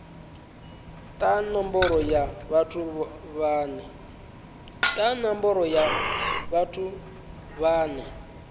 ta nomboro ya vhathu vhane